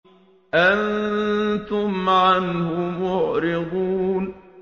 أَنتُمْ عَنْهُ مُعْرِضُونَ